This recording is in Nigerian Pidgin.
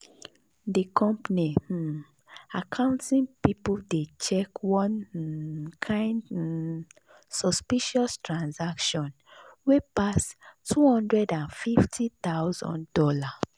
the company um accounting people dey check one um kind um suspicious transaction wey pass two hundred and fifty thousand dollars